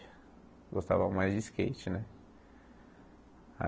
Gostava mais de skate né.